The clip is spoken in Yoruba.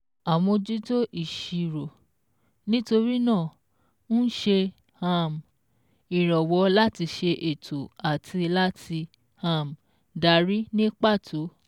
Àmójútó ìṣirò, nítorí náà, ń ṣe um ìrànwọ́ láti ṣe ètò àti láti um darí ní pàtó